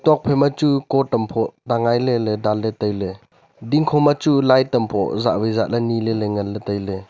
nokphai ma chu coat am phoh tengai le le dan le tai ley dingkho ma chu light am phoh zah wai zah ley nee ley le ngan ley tai ley.